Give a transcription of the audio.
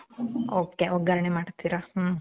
ok. ಒಗ್ಗರಣೆ ಮಾಡ್ತೀರ. ಮ್ಮ್.